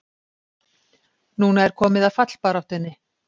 Núna er komið að fallbaráttunni!